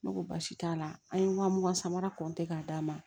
Ne ko baasi t'a la an ye wa mugan samara k'a d'a ma